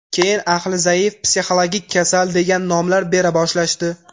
Keyin aqli zaif, psixologik kasal, degan nomlar bera boshlashdi.